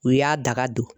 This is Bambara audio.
U y'a daga don